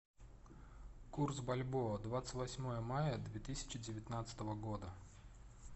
курс бальбоа двадцать восьмое мая две тысячи девятнадцатого года